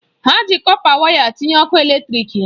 Ha ji kọpa waya tinye ọkụ eletrịk ha.